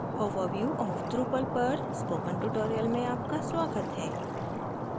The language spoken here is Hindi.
overview of drupal पर spoken tutorial में आपका स्वागत है